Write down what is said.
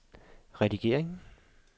redning